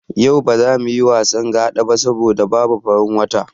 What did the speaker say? Yau ba za muyi wasan Gaɗa ba saboda babu farin wata.